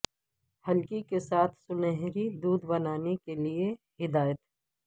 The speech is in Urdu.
ہلکی کے ساتھ سنہری دودھ بنانے کے لئے ہدایت